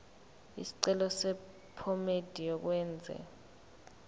isicelo sephomedi yokwenze